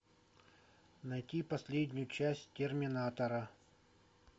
найти последнюю часть терминатора